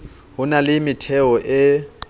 ho na le metheo e